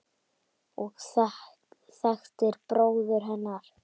og þekktir bróður hennar.